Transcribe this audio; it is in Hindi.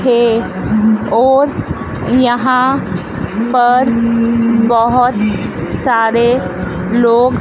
के और यहां पर बहोत सारे लोग--